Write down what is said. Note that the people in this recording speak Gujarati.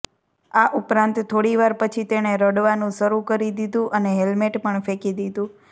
આ ઉપરાંત થોડીવાર પછી તેણે રડવાનું શરૂ કરી દીધુ અને હેલ્મેટ પણ ફેંકી દીધું